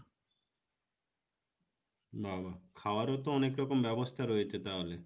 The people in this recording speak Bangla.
বাবা খাওয়ারও তো অনেক রকম ব্যবস্থা রয়েছে তাহলে